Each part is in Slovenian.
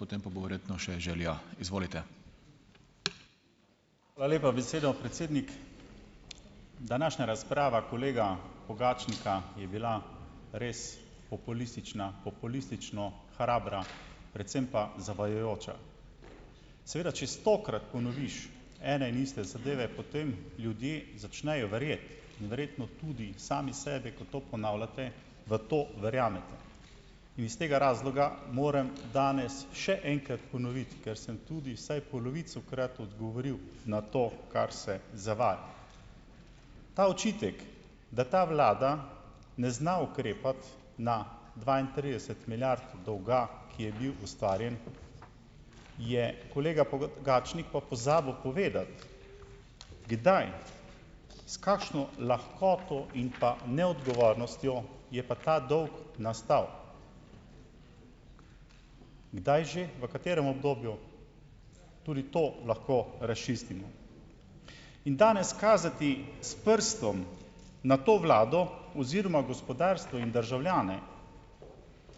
Hvala lepa besedo, predsednik. Današnja razprava kolega Pogačnika je bila res populistična, populistično hrabra, predvsem pa zavajajoča. Seveda če stokrat ponoviš ene in iste zadeve, potem ljudje začnejo verjeti in verjetno tudi sami sebe, ko to ponavljate, v to verjamete. In iz tega razloga moram danes še enkrat ponoviti, ker sem tudi vsaj polovico- krat odgovoril na to, kar se zavaja. Ta očitek, da ta vlada ne zna ukrepati na dvaintrideset milijard dolga, ki je bil ustvarjen, je kolega Pogačnik pa pozabil povedati, kdaj, s kakšno lahkoto in pa neodgovornostjo je pa ta dolg nastal. Kdaj že? V katerem obdobju? Tudi to lahko razčistimo. In danes kazati s prstom na to vlado oziroma gospodarstvo in državljane,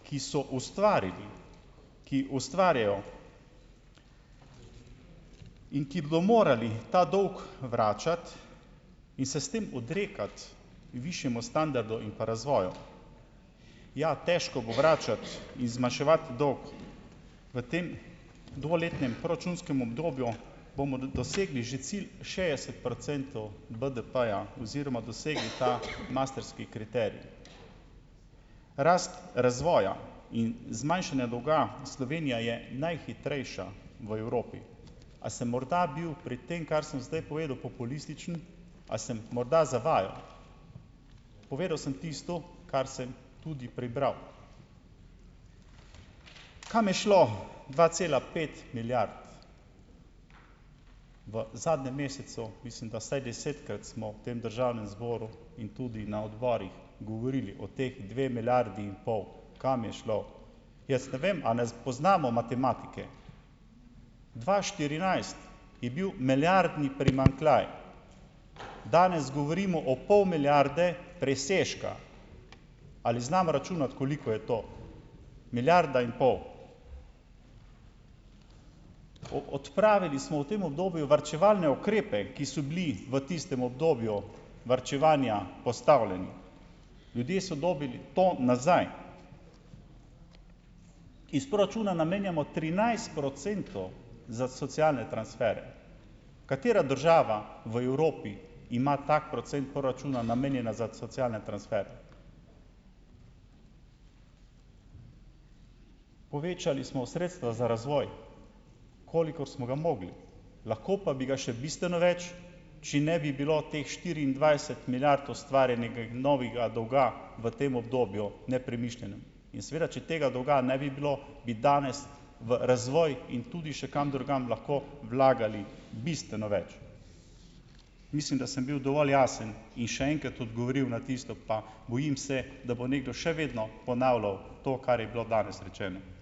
ki so ustvarili, ki ustvarjajo in ki bodo morali ta dolg vračati in se s tem odrekati višjemu standardu in pa razvoju. Ja, težko bo vračati in zmanjševati dolg. V tem dvoletnem proračunskem obdobju bomo dosegli že cilj šestdeset procentov BDP-ja oziroma dosegli ta maastrichtski kriterij. Rast razvoja in zmanjšanja dolga, Slovenija je najhitrejša v Evropi. A sem morda bil pri tem, kar sem zdaj povedal, populističen? A sem morda zavajal? Povedal sem tisto, kar sem tudi prebral. Kam je šlo dva cela pet milijard? V zadnjem mesecu, mislim da, vsaj desetkrat smo v tem državnem zboru in tudi na odborih govorili o teh dveh milijardah in pol, kam je šlo? Jaz ne vem, a ne poznamo matematike. Dva štirinajst je bil milijardni primanjkljaj. Danes govorimo o pol milijarde presežka. Ali znamo računati, koliko je to milijarda in pol? Odpravili smo v tem obdobju varčevalne ukrepe, ki so bili v tistem obdobju varčevanja postavljeni. Ljudje so dobili to nazaj. Iz proračuna namenjamo trinajst procentov za socialne transfere. Katera država v Evropi ima tak procent proračuna namenjena za socialne transfere? Povečali smo sredstva za razvoj, kolikor smo ga mogli. Lahko pa bi ga še bistveno več, če ne bi bilo teh štiriindvajset milijard ustvarjenega novega dolga v tem obdobju nepremišljenem. In seveda če tega dolga ne bi bilo, bi danes v razvoj in tudi še kam drugam lahko vlagali bistveno več. Mislim, da sem bil dovolj jasen in še enkrat odgovoril na tisto. Pa bojim se, da bo nekdo še vedno ponavljal to, kar je bilo danes rečeno.